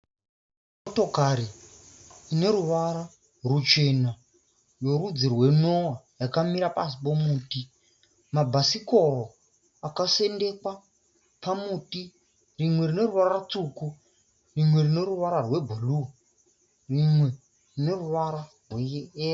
Motokari ine ruvara ruchena yorudzi rwo noah yakamira pasi pomuti, mabhasikoro akasendekwa pamuti, rimwe rine ruvara rwutsvuku, rimwe rine ruvara rwe blue, rimwe rine ruvara rwe yero.